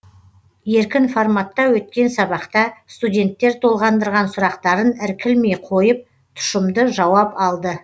еркін форматта өткен сабақта студенттер толғандырған сұрақтарын іркілмей қойып тұшымды жауап алды